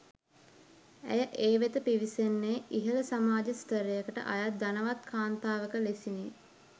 ඇය ඒ වෙත පිවිසෙන්නේ ඉහළ සමාජ ස්ථරයකට අයත් ධනවත් කාන්තාවක ලෙසිනි.